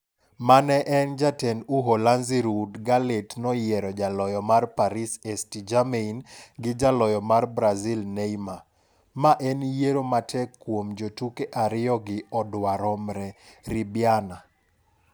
Mane en jatend Uholanzi Ruud Gullit noyiero jaloyo mar Paris St-Germain gi jaloyo mar Brazil Neymar "Ma en yiero matek kuom jotuke ariyogi odwa romre. ribiana.